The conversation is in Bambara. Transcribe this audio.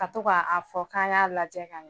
Ka to k'a a fɔ k'an k'a lajɛ ka ɲɛ